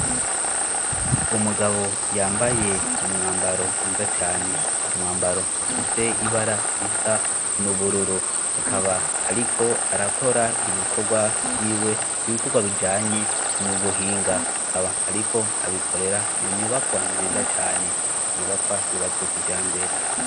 Umugabo yambaye umwambaro mwiza cane umwambaro ufise ibara risa n'ubururu akaba, ariko arakora ibikorwa vyiwe ibikorwa bijanye n'ubuhinga akaba, ariko abikorera mu nyubakwa nziza cane inyubakwa yubatswe kija mbere.